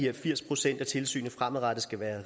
at firs procent af tilsynet fremadrettet skal være